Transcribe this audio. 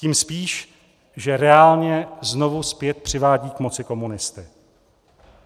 Tím spíš, že reálně znovu zpět přivádí k moci komunisty.